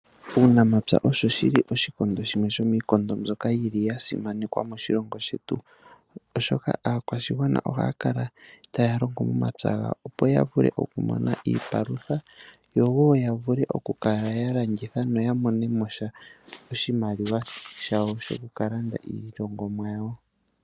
Uunamapya owuli shimwe shomiikondo mbyoka yasimanekwa moshilongo shetu. Oshika aakwashigwana ohaya kala taya longo omapya gawo, opo ya vule okumona iipalutha noya mone vule oku kala yalanditha yamone oshimaliwa shokulanda iilongomwa yawo.